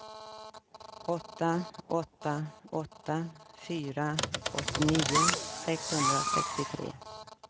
åtta åtta åtta fyra åttionio sexhundrasextiotre